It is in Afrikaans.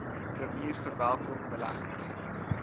premier verwelkom beleggings